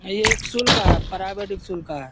एक सूल का है प्राइवेट एकसुल का है।